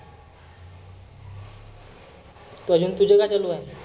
आजुन तुझं काय चालु आहे?